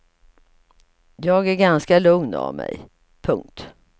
Jag är ganska lugn av mig. punkt